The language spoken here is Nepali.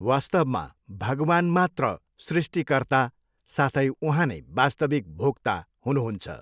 वास्तवमा भगवान मात्र सृष्टिकर्ता साथै उहाँनै वास्तविक भोग्ता हुनु हुन्छ।